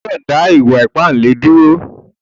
Ò gbọ̀dọ̀ dá ìwà-ìpà àbèlè dúró!